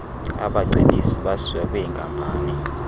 abacebisi basiwa kwwinkampani